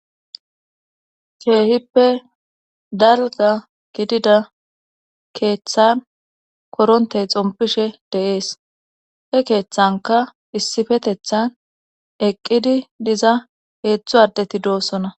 sheehippe dalga gidida keeththan korontey xompishe deees he keeththanka issifetethan eqqidi diza heetzthu ardeti doossona